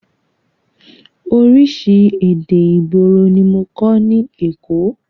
Oríṣi èdè ìgboro ní mọ kọ́ ní èkó.